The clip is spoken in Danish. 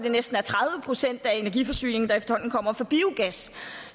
er næsten tredive procent af deres energiforsyning der kommer fra biogas